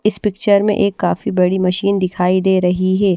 इस पिक्चर में एक काफी बड़ी मशीन दिखाई दे रही है।